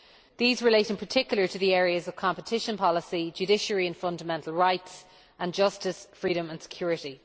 These relate in particular to the areas of competition policy, judiciary and fundamental rights, and justice, freedom and security.